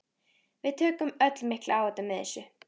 Við tökum öll mikla áhættu með þessu.